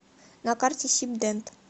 на карте сибдент